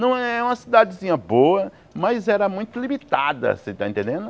Não é uma cidadezinha boa, mas era muito limitada, você tá entendendo?